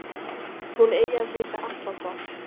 Hún eigi að heita Atlanta